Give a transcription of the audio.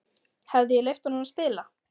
Hefði ég leyft honum að spila?